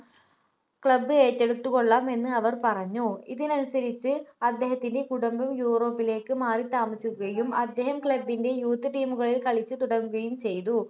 club ഏറ്റെടുത്തുകൊള്ളാം എന്ന് അവർ പറഞ്ഞു ഇതിനുസരിച്ച് അദ്ദേഹത്തിൻ്റെ കുടുംബം യൂറോപ്പിലേക്ക് മാറിത്താമസിക്കുകയും അദ്ദേഹം club ൻ്റെ youth team കളിൽ കളിച്ച് തുടങ്ങുകയും ചെയ്തു